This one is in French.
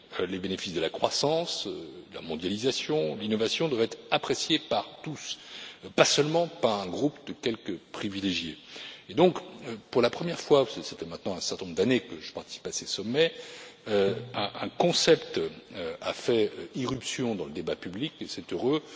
les bénéfices de la croissance, de la mondialisation, de l'innovation doivent être appréciés par tous, pas seulement par un groupe de quelques privilégiés. Pour la première fois, et cela fait maintenant un certain nombre d'années que je participe à ces sommets, un concept a fait irruption dans le débat public, et c'est heureux.